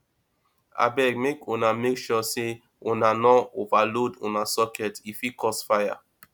abeg make una make sure sey una no overload una socket e fit cause fire